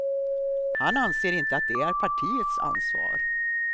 Han anser inte att det är partiets ansvar.